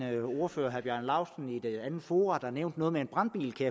at en ordfører herre bjarne laustsen engang i et andet forum nævnte noget med en brandbil det